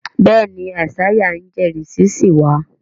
béèni Isaiah ń ijẹrisi sí wá.